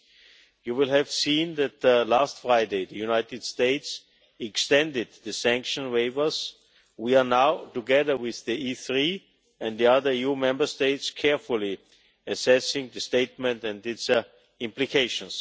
Members will have seen that last Friday the United States extended the sanction waivers, and we are now, together with the E3 and the other EU Member States, carefully assessing the statement and its implications.